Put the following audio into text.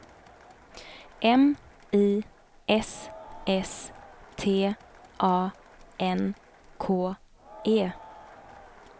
M I S S T A N K E